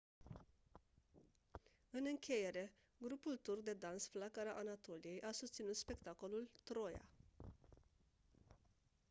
în încheiere grupul turc de dans flacăra anatoliei a susținut spectacolul «troia».